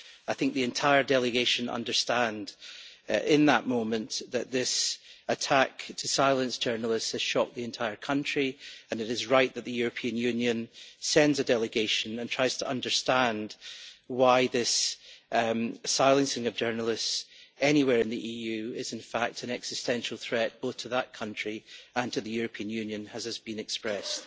I think the entire delegation understood, in that moment, that this attack to silence journalists has shocked the entire country, and it is right that the European Union sends a delegation and tries to understand why this silencing of journalists anywhere in the EU is in fact an existential threat both to that country and to the European Union, as has been expressed.